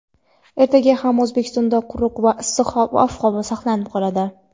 Ertaga ham O‘zbekistonda quruq va issiq ob-havo saqlanib qoladi.